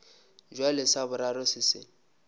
bjale sa boraro se se